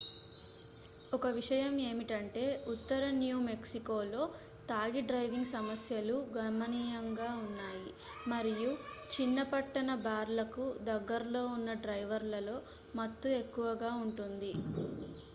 ఒక విషయం ఏమిటంటే ఉత్తర న్యూ మెక్సికోలో తాగి డ్రైవింగ్ సమస్యలు గణనీయంగా ఉన్నాయి మరియు చిన్న-పట్టణ బార్లకు దగ్గరలో ఉన్న డ్రైవర్లలో మత్తు ఎక్కువగా ఉంటుంది